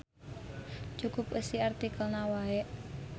Cukup eusi artikelna wae.